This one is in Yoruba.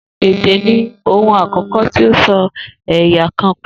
Èdè ni ohun àkó̩kó̩ tí ó so è̩yà kan pò